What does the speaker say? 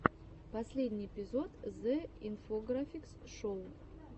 последний эпизод зе инфографикс шоу